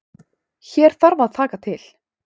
Hér þarf að taka til.